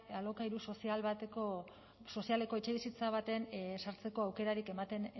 alokairu sozialeko etxebizitza batean sartzeko aukerarik ematen